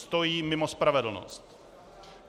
Stojí mimo spravedlnost.